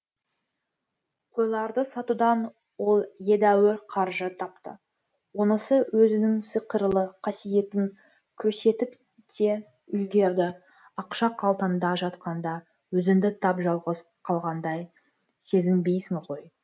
қойларды сатудан ол едәуір қаржы тапты онысы өзінің сиқырлы қасиетін көрсетіп те үлгерді ақша қалтаңда жатқанда өзіңді тап жалғыз қалғандай сезінбейсің ғой